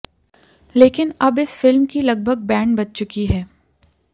लेकिन अब इस फिल्म की लगभग बैंड बज चुकी है